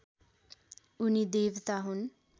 उनी देवता हुन्